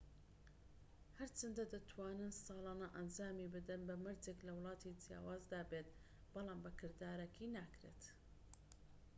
هەرچەندە دەتوانن ساڵانە ئەنجامی بدەن بەمەرجێك لە وڵاتی جیاوازدا بێت بەڵام بە کردارەکی ناکرێت